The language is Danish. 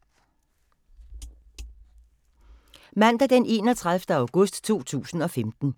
Mandag d. 31. august 2015